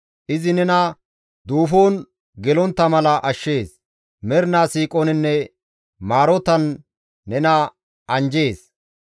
Izi nena duufon gelontta mala ashshees; mernaa siiqoninne maarotan nena anjjees.